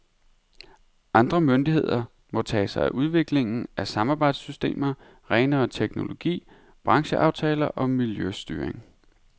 Andre myndigheder må tage sig af udviklingen af samarbejdssystemer, renere teknologi, brancheaftaler og miljøstyring.